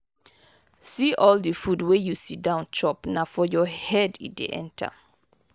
see all the food wey you sit down chop na for your head e dey enter.